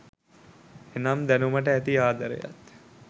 එනම් දැනුමට ඇති ආදරයත්